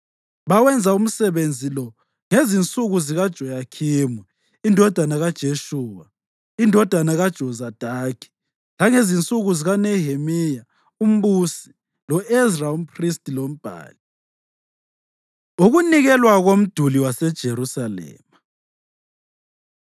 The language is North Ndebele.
Bawenza umsebenzi lo ngezinsuku zikaJoyakhimu indodana kaJeshuwa, indodana kaJozadaki, langezinsuku zikaNehemiya umbusi lo-Ezra umphristi lombhali. Ukunikelwa Komduli WaseJerusalema